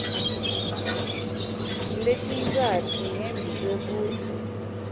letintsatfu ngembi kwekutsi